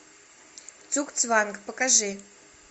цугцванг покажи